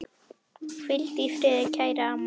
Hvíldu í friði, kæra amma.